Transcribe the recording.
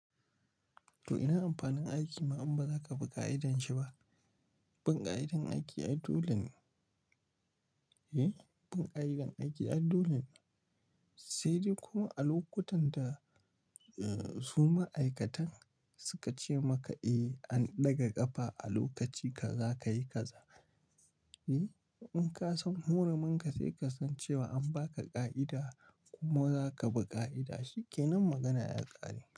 Toh ina amfanin aiki ma in ba za ka bi ƙa'idanshi ba? Bin ƙa'idar aiki ai dole ne, bin ƙa'idar aiki ai dole ne sai dai kuma a lokutan da su ma'aikatan suka ce maka eh an ɗaga ƙafa a lokaci ka za ka yi kaza. In ka san huruminka sai ka san cewa an ba ka ƙa'ida kuma za ka bi ƙa'ida, shi ke nan magana ya ƙare.